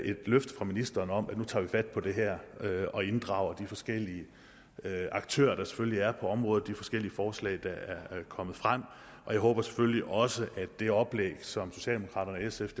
et løfte fra ministeren om at nu tager vi fat på det her og inddrager de forskellige aktører der selvfølgelig er på området og de forskellige forslag der er kommet frem jeg håber selvfølgelig også at det oplæg som socialdemokraterne sf